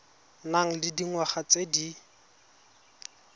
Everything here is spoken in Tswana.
nang le dingwaga tse di